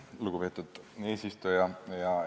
Lugupeetud eesistuja!